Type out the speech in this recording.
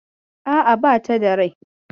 A'a, bata da rai.